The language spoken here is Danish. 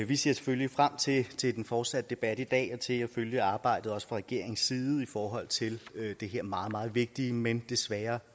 vi ser selvfølgelig frem til til den fortsatte debat i dag og til at følge arbejdet også fra regeringens side i forhold til den her meget meget vigtige men desværre